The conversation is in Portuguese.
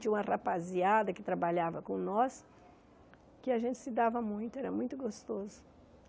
Tinha uma rapaziada que trabalhava com nós, que a gente se dava muito, era muito gostoso.